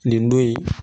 Nin don in